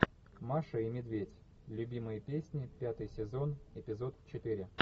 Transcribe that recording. маша и медведь любимые песни пятый сезон эпизод четыре